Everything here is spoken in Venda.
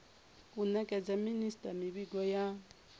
u nekedza minisita mivhigo ya